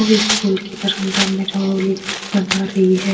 ये स्कूल के बरंडा में रंगोली बना रही है।